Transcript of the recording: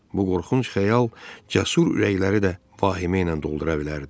Bu qorxunc xəyal cəsur ürəkləri də vahimə ilə doldura bilərdi.